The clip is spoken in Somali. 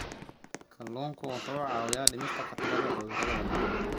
Kalluunku waxa uu caawiyaa dhimista khatarta cudurrada wadnaha.